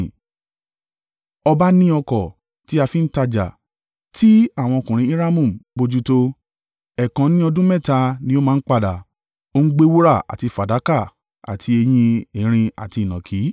Ọba ní ọkọ̀ tí a fi ń tajà tí àwọn ọkùnrin Hiramu ń bojútó. Ẹ̀ẹ̀kan ní ọdún mẹ́ta ni ó máa ń padà, ó ń gbé wúrà àti fàdákà àti eyín erin àti ìnàkí.